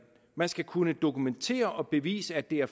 man skal kunne dokumentere og bevise at det er